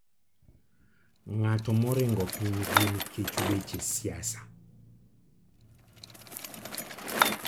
Ng'ato moringo pinygi nikech weche siasa.